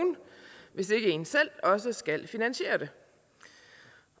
hvis ikke en selv også skal finansiere det